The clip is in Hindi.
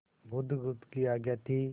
बुधगुप्त की आज्ञा थी